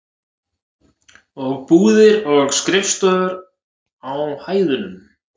Og búðir og skrifstofur á hæðunum.